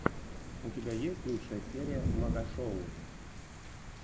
у тебя есть лучшая серия магашоу